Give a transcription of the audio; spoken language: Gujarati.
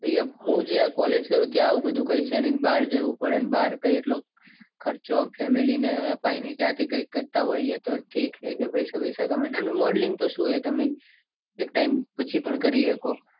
હું જે આ college કરું છું. ત્યાં એવું બધું કઈ છે. નઈ ને બાર જાઉં પડે. ને બાર કૈક એટલો ખર્ચો family ને અપાય નઈ. જાતે કૈક કરતા હોઈએ. તો ઠીક નકે પૈસા બીંસ તો નકે modeling તો સુ હે તમે એક time પછી પણ કરી શકો.